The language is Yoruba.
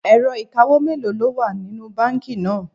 Ẹ̀rọ ìkawó mélòó ló wà nínú báńkì náà?